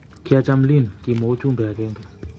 "Kiacham , Lynn" kimwa uchumbe agenge.